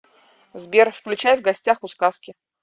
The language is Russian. сбер включай в гостях у сказки